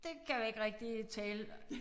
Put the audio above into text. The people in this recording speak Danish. Det kan vi ikke rigtig tale